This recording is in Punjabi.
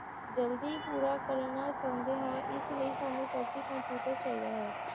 ਜਲਦੀ ਪੂਰਾ ਕਰਨਾ ਚਾਹੁੰਦੇ ਹਾਂ ਇਸ ਲਈ ਸਾਨੂੰ computer ਚਾਹੀਦਾ ਹੈ